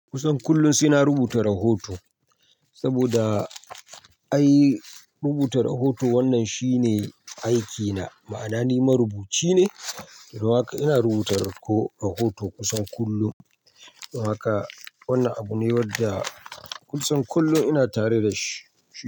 Kusan kullum saina rubuta rahoto saboda ai rubuta rahoto wannan shine aikina, ma'ana ni marubuci ne. Don haka ina rubuta ko rahoto kusan kullum. Don haka wannan abu ne wanda kusan kullum ina tare da shi.